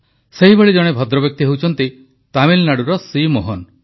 ସେହିଭଳି ଜଣେ ଭଦ୍ରବ୍ୟକ୍ତି ହେଉଛନ୍ତି ତାମିଲନାଡୁର ସି ମୋହନ